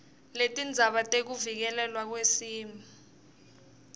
letindzaba tekuvikelelwa kwesimo